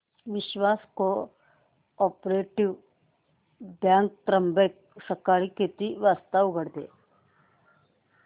विश्वास cooperative bank Trimbak सकाळी किती वाजता उघडते